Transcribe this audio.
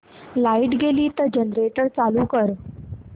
light गेली तर generator चालू कर